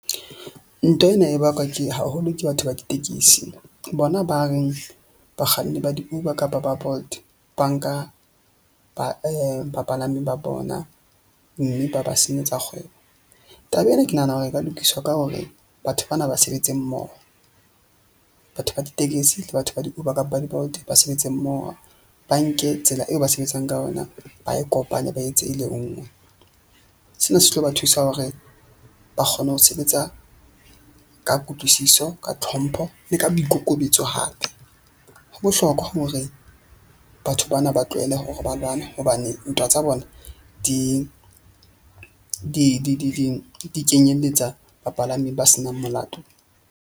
Ntwa ena e bakwa ke haholo ke batho ba ditekesi, bona, ba reng bakganni ba di-Uber kapa ba Bolt ba nka ba bapalami ba bona. Mme ba ba senyetsa kgwebo. Taba ena ke nahana hore e ka lokiswa ka hore batho bana ba sebetse mmoho. Batho ba ditekesi le batho ba di-Uber kapa di-Bolt ba sebetse mmoho ba nke tsela eo ba sebetsang ka ona ba e kopanye ba e etse e le nngwe. Sena se tlo ba thusa hore ba kgone ho sebetsa ka kutlwisiso, ka tlhompho le ka boikokobetso hape. Ho bohlokwa hore batho bana ba tlohelle hore ba lwane, hobane ntwa tsa bona di kenyeletsa bapalami ba senang molato.